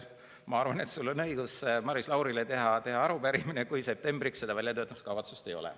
Ma arvan, et sul on õigus Maris Laurile teha arupärimine, kui septembriks seda väljatöötamiskavatsust ei ole.